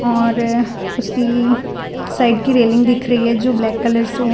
और उसकी साइड की रेलिंग दिख रही है जो ब्लैक कलर से है।